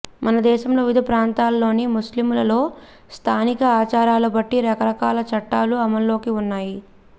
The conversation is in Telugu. మన దేశంలోని వివిధ ప్రాంతాలలోని ముస్లిములలో స్థానిక ఆచారాల బట్టి రకరకాల చట్టాలు అమల్లో వున్నాయి